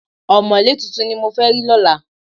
Ọ̀mọ̀lé tuntun ni mo fẹ́ rí lọ́la